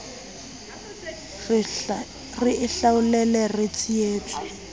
re e hlaolele re sietswe